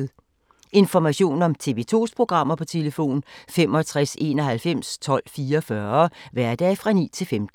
Information om TV 2's programmer: 65 91 12 44, hverdage 9-15.